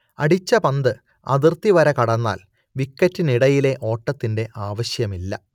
അടിച്ച പന്ത് അതിർത്തിവര കടന്നാൽ വിക്കറ്റിനിടയിലെ ഓട്ടത്തിന്റെ ആവശ്യമില്ല